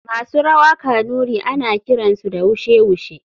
Masu rawa kanuri ana kiransu da wushe wushe.